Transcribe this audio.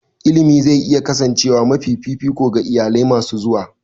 Ilimi zai iya kasancewa mafi fifiko ga iyalai masu zuwa.